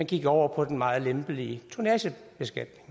gik over på den meget lempelige tonnagebeskatning